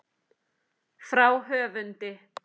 Frá höfundi